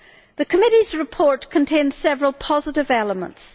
The Committee's report contains several positive elements.